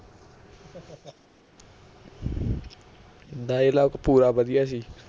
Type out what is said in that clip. dialogue ਪੂਰਾ ਵਧੀਆ ਸੀ